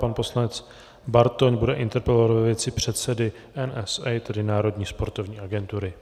Pan poslanec Bartoň bude interpelovat ve věci předsedy NSA, tedy Národní sportovní agentury.